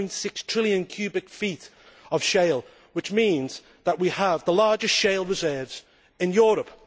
4.6 trillion cubic feet of shale, which means that we have the largest shale reserves in Europe.